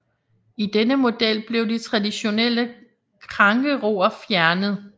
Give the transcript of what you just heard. I denne model blev de traditionelle krængeror fjernet